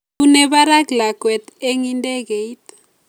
Bune barak lakwet eng idegeit